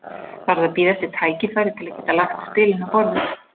Varð að bíða eftir tækifæri til að geta lagt spilin á borðið.